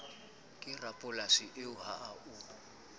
ke rapolasi eo ha o